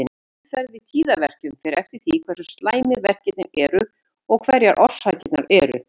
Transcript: Meðferð við tíðaverkjum fer eftir því hversu slæmir verkirnir eru og hverjar orsakirnar eru.